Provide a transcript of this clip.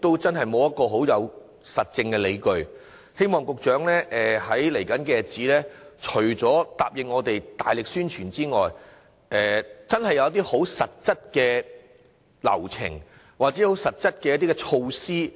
在未來的日子，希望局長除了答應我們會大力宣傳之外，真的會有實質的流程或措施，